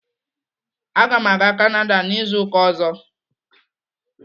Aga m aga Kanada n'izu ụka ọzọ.